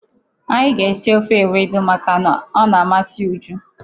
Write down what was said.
Anyị ga-esi ofe ewedu makana ọ na-amasị Uju.